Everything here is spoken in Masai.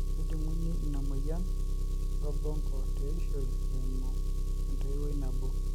kejung'uni ina moyian orbonko teishoi eimu entoiwoi nabo.